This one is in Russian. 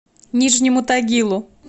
нижнему тагилу